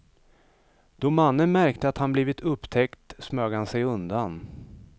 Då mannen märkte att han blivit upptäckt smög han sig undan.